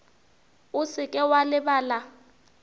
o se ke wa lebala